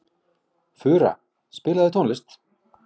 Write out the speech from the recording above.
Fura, spilaðu tónlist.